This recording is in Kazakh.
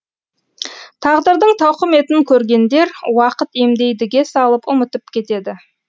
тағдырдың тауқыметін көргендер уақыт емдейдіге салып ұмытып кетеді